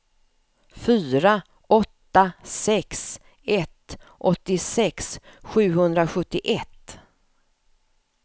fyra åtta sex ett åttiosex sjuhundrasjuttioett